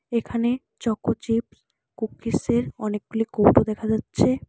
এখানে choco chips কুকিজের অনেকগুলি কৌটো দেখা যাচ্ছে।